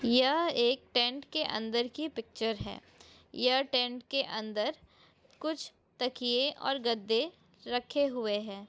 यह एक टेंट कि अंदर की पिक्चर है यह टेंट के अंदर कुछ तकिये और गद्दे रखे हुए है।